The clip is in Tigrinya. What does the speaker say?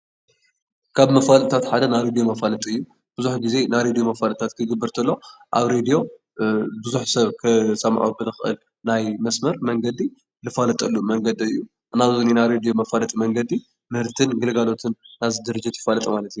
ካብ መፈላጥታት ሓደ ናይ ሬድዮ መፋለጢ እዩ። ብዙሕ ግዜ ናይ ሬድዮ መፈላጢታት ክግበር እንተሎ፣ ኣብ ሬድዮ ብዙሕ ሰብ ክሰምዖ ብዝክእል ናይ መስመር መንገዲ ዝፋለጠሉ መንገዲ እዩ ። ናይ ሬድዮ መፋለጢ ምህርትን ግልጋሎትን ናይዚ ድርጅት መፋለጢ ማለት እዩ።